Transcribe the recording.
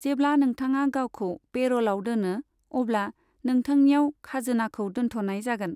जेब्ला नोंथाङा गावखौ पेरलआव दोनो, अब्ला नोंथांनियाव खाजोनाखौ दोन्थ'नाय जागोन।